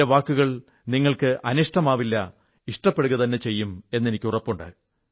എന്റെ വാക്കുകൾ നിങ്ങൾക്ക് അനിഷ്ടമാവില്ല ഇഷ്ടപ്പെടുകതന്നെ ചെയ്യുമെന്ന് എനിക്കുറപ്പുണ്ട്